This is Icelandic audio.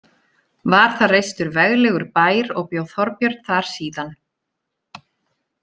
Var þar reistur veglegur bær og bjó Þorbjörn þar síðan.